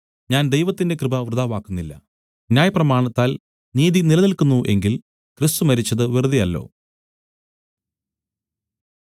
ഞാൻ ദൈവത്തിന്റെ കൃപ വൃഥാവാക്കുന്നില്ല ന്യായപ്രമാണത്താൽ നീതി നിലനിൽക്കുന്നു എങ്കിൽ ക്രിസ്തു മരിച്ചത് വെറുതെയല്ലോ